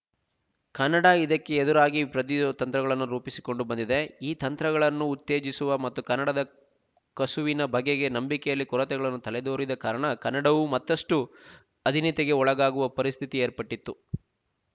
ಕನ್ನಡ ಇದಕ್ಕೆ ಎದುರಾಗಿ ಪ್ರತಿರೋಧದ ತಂತ್ರಗಳನ್ನು ರೂಪಿಸಿಕೊಂಡು ಬಂದಿದೆ ಈ ತಂತ್ರಗಳನ್ನು ಉತ್ತೇಜಿಸುವ ಮತ್ತು ಕನ್ನಡದ ಕಸುವಿನ ಬಗೆಗೆ ನಂಬಿಕೆಯಲ್ಲಿ ಕೊರತೆಗಳನ್ನು ತಲೆದೊರಿದ ಕಾರಣ ಕನ್ನಡವು ಮತ್ತಷ್ಟು ಅಧೀನತೆಗೆ ಒಳಗಾಗುವ ಪರಿಸ್ಥಿತಿ ಏರ್ಪಟ್ಟಿತು